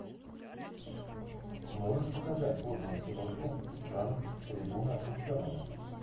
можешь показать годную киношку жанр трибуна ученого